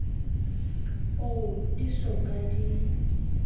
oo di so ka di